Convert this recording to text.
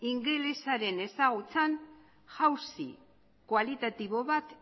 ingelesaren ezagutzan jausi kualitatibo bat